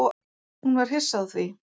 Hún var hissa á því.